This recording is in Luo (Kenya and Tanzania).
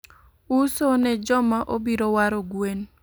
Uso ne joma obiro waro gwen